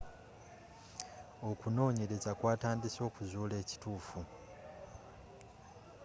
okunonyeleza kw'atandise okuzula ekitufu